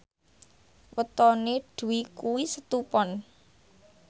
wetone Dwi kuwi Setu Pon